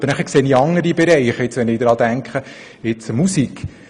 Aber dann sehe ich andere Bereiche, wie beispielsweise die Musik: